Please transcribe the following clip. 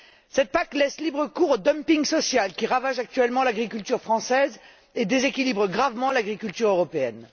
Cette PAC laisse libre cours au dumping social, qui ravage actuellement l'agriculture française, et déséquilibre gravement l'agriculture européenne.